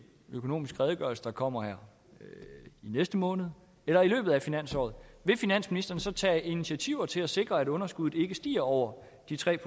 i økonomisk redegørelse der kommer i næste måned eller i løbet af finansåret vil finansministeren så tage initiativer til at sikre at underskuddet ikke stiger over de tre